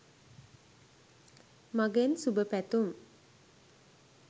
මගෙන් සුබ පැතුම්